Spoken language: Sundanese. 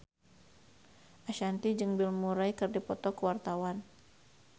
Ashanti jeung Bill Murray keur dipoto ku wartawan